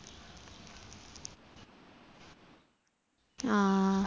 ആ